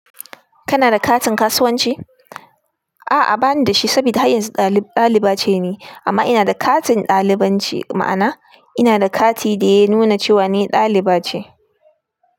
Kana da katin kasuwanci? A'a bani da shi saboda har yanzu ɗali-ɗaliba ce ne amma ina da katin ɗalibanci, ma'ana ina da kati da ya nuna cewa ni ɗaliba ce.